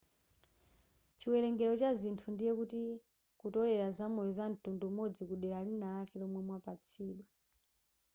chiwerengero cha zinthu ndiye kuti kutolela zamoyo zamtundu umodzi kudera linalake lomwe mwapatsidwa